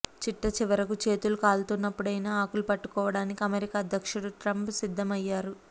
చిట్టచివరకు చేతులు కాలుతున్నప్పుడైనా ఆకులు పట్టుకోడానికి అమెరికా అధ్యక్షుడు ట్రంప్ సిద్ధమయ్యారు